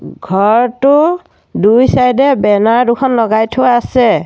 ঘৰটো দুই চাইডে বেনাৰ দুখন লগাই থোৱা আছে।